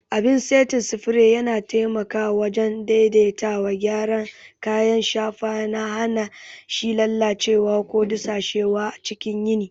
Abin saitin spray yana taimakawa wajen daidaitawa, gyara kayan shafa, yana hana shi lalacewa ko dusashewa cikin yini.